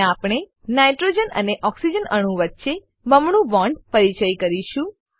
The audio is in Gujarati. હવે આપણે નાઇટ્રોજન અને ઓક્સિજન અણુ વચ્ચે બમણું બોન્ડ પરિચય કરીશું